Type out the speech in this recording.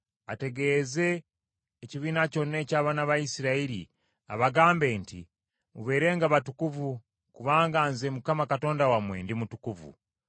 ategeeze ekibiina kyonna eky’abaana ba Isirayiri abagambe nti, “Mubeerenga batukuvu, kubanga nze Mukama Katonda wammwe ndi mutukuvu.